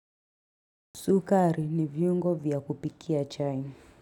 Sukaari ni viungo vya kupikia chai.